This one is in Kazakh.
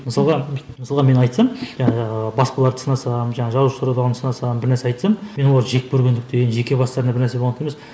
мысалға мысалға мен айтсам жаңағы басқаларды сынасам жаңа жазушылар одағын сынасам бір нәрсе айтсам мен оларды жек көргендіктен емес жеке бастарына бір нәрсе болғандықтан емес